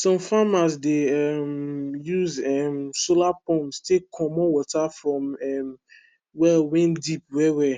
some farmers dey um use um solar pumps take comot water from um well wen deep well well